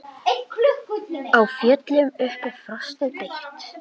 Á fjöllum uppi frostið beit.